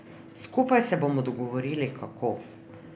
Skupaj se bomo dogovorili, kako.